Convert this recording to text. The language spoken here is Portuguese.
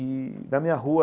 E, na minha rua,